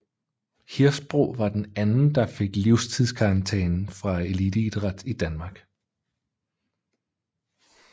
Hirsbro var den anden der fik livstidskarantæne fra eliteidræt i Danmark